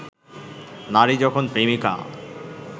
নারী যখন প্রেমিকা